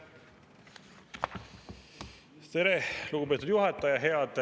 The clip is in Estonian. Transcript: Tere, lugupeetud juhataja!